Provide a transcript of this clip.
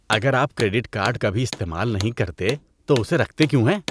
اگر آپ credit card کبھی استعمال نہیں کرتے تو اسے رکھتے کیوں ہیں؟